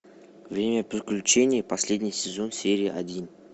время приключений последний сезон серия один